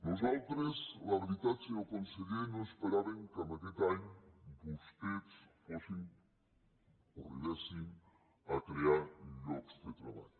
nosaltres la veritat senyor conseller no esperàvem que aquest any vostès arribessin a crear llocs de treball